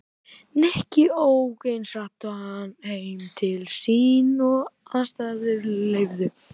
Nikki ók eins hratt heim til sín og aðstæður leyfðu.